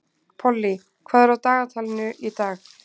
Pollý, hvað er á dagatalinu í dag?